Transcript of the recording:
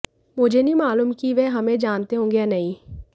मुझे नहीं मालूम कि वे हमें जानते होंगे या नहीं